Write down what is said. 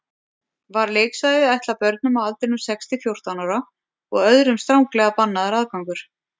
Var leiksvæðið ætlað börnum á aldrinum sex til fjórtán ára og öðrum stranglega bannaður aðgangur.